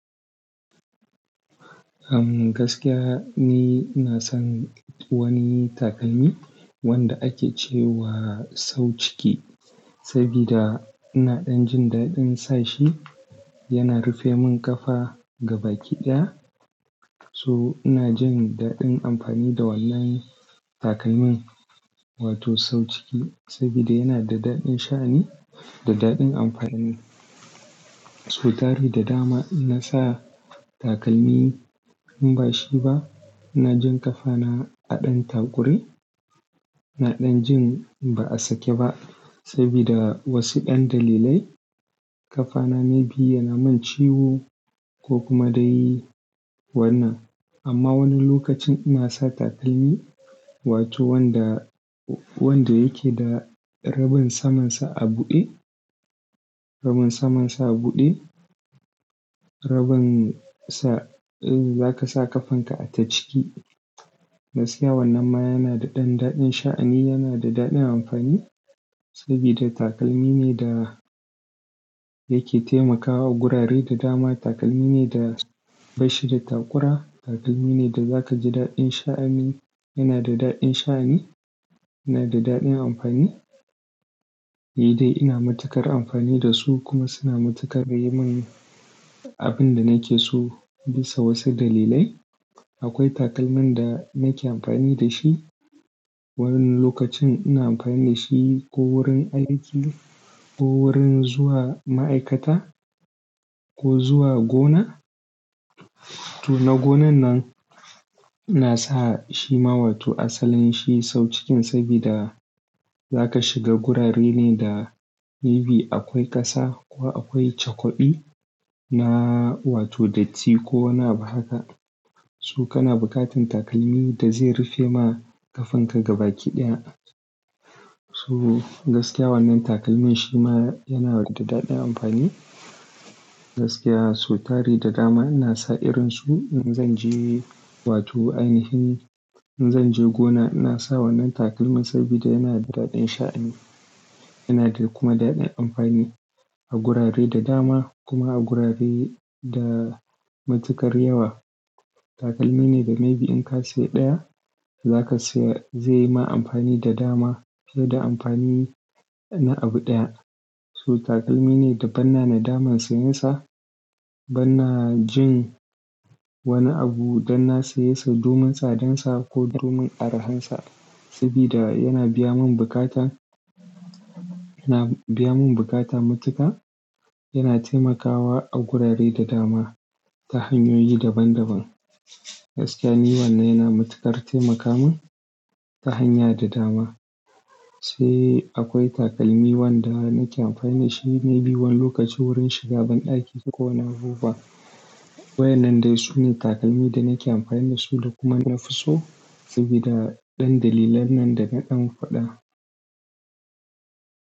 Am gaskiya ni ina san wani takalmi wanda ake cewa sau ciki, sabida ina ɗan jin daɗin sashi. Yana rufe min ƙafa gaba kiɗaya. So ina jin daɗin amfani da wannan takalmin wato sau ciki, sabida yana da daɗin sha'ani da daɗin amfani. So tari da dama ina sa takalmi in bashi ba ina jin ƙafana a ɗan taƙure. Ina ɗan jin ba a sake ba sabida wasu ɗan dalilai. Ƙafana maybe yana mun ciwo ko kuma dai wannan. Amma wani lokacin ina sa takalmi wato wanda, wanda yake da rabin saman sa a buɗe, rabin saman sa a buɗe. Rabin sa zaka sa ƙafan ka a ta ciki. Gaskiya wannan ma yana da ɗan daɗin sha'ani, yana da daɗin amfani sabida takalmi ne da yake taimakawa a gurare da dama. Takalmi ne da bashi da taƙura. Takalmi ne da za ka ji daɗin sha'ani, yana da daɗin sha'ani, yana da daɗin amfani. Nidai ina matukar amfani da su kuma suna matukar yi min abin da nake so bisa wasu dalilai. Akwai takalmin da nake amfani da shi. Wani lokacin ina amfani da shi ko wurin aiki ko wurin zuwa ma'aikata ko zuwa gona. To na gonan nan inasa shi ma wato asalin shi sau cikin sabida zaka shiga gurare ne da maybe akwai ƙasa ko akwai cakwaɗi na wato datti ko wanni abu haka. So kana buƙatan takalmi da zai rufe ma ƙafan ka gaba kiɗiya. Su gaskiya wannan takalmin shi ma yana da daɗin amfani. Gaskiya so tari da dama ina sa irin su in zanje wato ainihi in zanje gona ina sa wannan takalmin sabida yana da daɗin sha'ani. Yana da kuma daɗin amfani a gurare da dama kuma a gurare da matuƙar yawa. Takalmi ne da maybe in ka siya ɗaya zaka siya zai yi ma amfani da dama fiye da amfani na abu ɗaya. So takalmi ne da banna na daman siyansa. Banna jin wani abu dan na saye sa domin tsadansa ko domin arahansa sabida yana biya mun buƙata, yana biya mun buƙata matuka. Yana taimakawa a gurare da dama ta hanyoyi daban daban. Gaskiya ni wannan yana matukar taimaka mun ta hanya da dama. Sai akwai takalmi wanda nake amfani dashi maybe wani lokaci wurin shiga banɗaki kowanne abubuwa. Waɗannan dai sune takalmi da nake amfani dasu da kuma nafi so sabida ɗan dalilan nan dana ɗan faɗa.